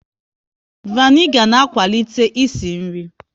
Vanigar na akwalite ịsị nri